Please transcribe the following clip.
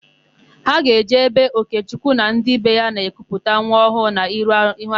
Ha ga-eje ebe Ogechukwu na ndị be ya na-ekuputa nwa ọhụụ ha n'ihu arụsị ha.